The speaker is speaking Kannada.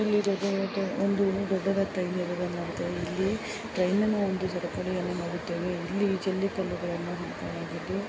ಇಲ್ಲಿ ಇರುವದು ದೊಡ್ಡದಾಗಿರುವ ಒಂದು ಟ್ರೈನ್ ಅನ್ನು ನೋಡುತ್ತಾರೆ. ಇಲ್ಲಿ ಟ್ರೈನ್ನ ಒಂದು ಜಗತ್ತು ನಾವು ನೋಡುತ್ತೇವೆ. ಇಲ್ಲಿ ಜಲ್ಲಿ ಕಲ್ಲುಗಳನ್ನು ಹಾಕಲಾಗಿದ್ದು--